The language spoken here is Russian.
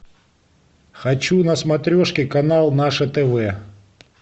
хочу на смотрешке канал наше тв